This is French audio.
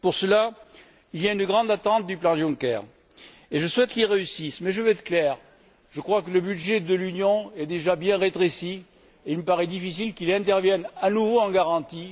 Pour cela, il y a une grande attente du plan Juncker, et je souhaite qu'il réussisse, mais je vais être clair je crois que le budget de l'Union est déjà bien rétréci et il me paraît difficile qu'il intervienne à nouveau en garantie.